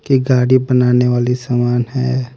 की गाड़ी बनाने वाली सामान है।